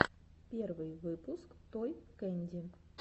первый выпуск той кэнди